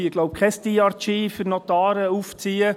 Wir wollen hier kein «DRG» für Notare aufziehen.